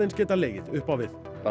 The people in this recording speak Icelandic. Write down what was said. geta legið upp á við